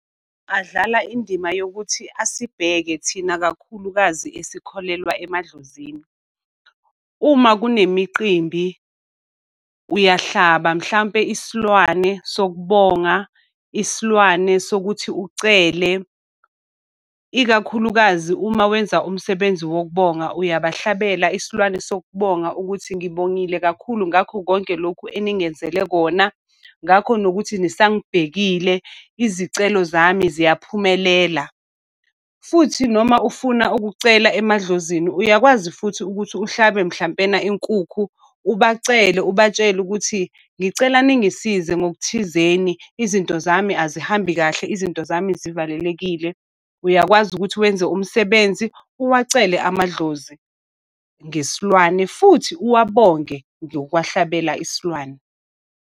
Adlala indima yokuthi asibheke thina, kakhulukazi esikholelwa emadlozini. Uma kunemiqimbi uyahlaba mhlampe isilwane sok'bonga, isilwane sokuthi ucele. Ikakhulukazi uma wenza umsebenzi wokubonga, uyabahlabele isilwane sokubona ukuthi ngibongile kakhulu ngakho konke lokhu eningenzela kona. Ngakho nokuthi nisangibhekile, izicelo zami ziyaphumelela. Futhi noma ufuna ukucela emadlozini, uyakwazi futhi ukuthi uhlabe mhlampena inkukhu ubacele ubatshele ukuthi ngicela ningisize ngokuthizeni izinto zami azihambi kahle, izinto zami zivalelekile. Uyakwazi ukuthi wenze umsebenzi, uwacele amadlozi ngesilwane, futhi uwabonge ngokwahlabela isilwane.